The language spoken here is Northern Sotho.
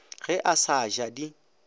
ge a sa ja di